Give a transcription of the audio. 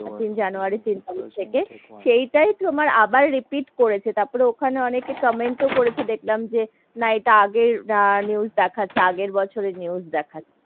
তিন জানুয়ারী তিন তারিক থেকে সেটাই তোমার আবার repeat করেছে, তারপরে ওখানে অনেকেই comment ও করেছে দেখলাম যে না এইটা আগে news দেখাচ্ছে, আগের বছরের news দেখাচ্ছে,